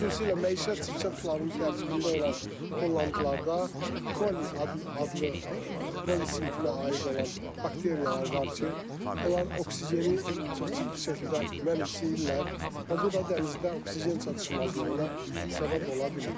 Xüsusilə məişət çirkab sularının tərkibində olan tullantılarda koli adlı koli sinfinə aid olan bakteriyalar var ki, onlar oksigeni çox ciddi şəkildə mənimsəyirlər və bu da dənizdə oksigen çatışmazlığına səbəb ola bilir.